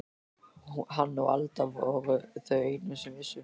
Hann og Alda voru þau einu sem vissu.